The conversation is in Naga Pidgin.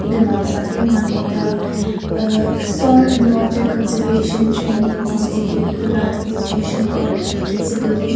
edu noksa de moikhan ekta uh soil and water conservation training institute edu la institution ghor ekta dikhiase building .